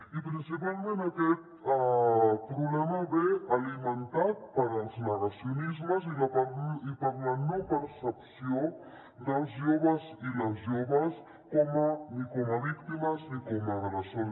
i principalment aquest problema ve alimentat pels negacionismes i per la no percepció dels joves i les joves ni com a víctimes ni com a agressors